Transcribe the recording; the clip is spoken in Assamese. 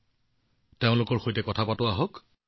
আহক তেওঁলোকৰ সৈতে কথা পাতোঁ